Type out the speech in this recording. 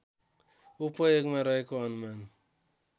उपयोगमा रहेको अनुमान